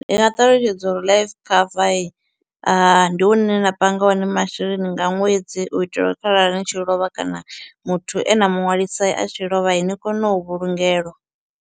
Ndi nga ṱalutshedza uri life cover ndi hune nda panga hone masheleni nga ṅwedzi u itela uri kharali ni tshi lovha kana muthu e na muṅwalisi a tshi lovha ni kone u vhulungelwa.